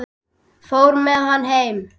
Fór með hann heim.